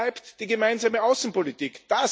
Wo bleibt die gemeinsame Außenpolitik?